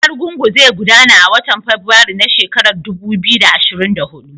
Bikin Argungu zai gudana a watan Fabrairu na shekarar dubu biyu da ashirin da hudu.